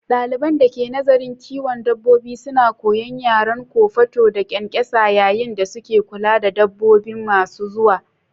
Daliban da ke nazarin kiwon dabbobi suna koyon yaren kofato da ƙwanƙwasa yayin da suke kula da dabbobi masu zuwa.